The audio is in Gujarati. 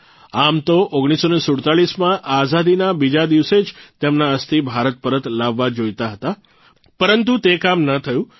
આમ તો ૧૯૪૭માં આઝાદીના બીજા દિવસે જ તેમના અસ્થિ ભારત પરત લાવવા જોઇતા હતા પરંતુ તે કામ ન થયું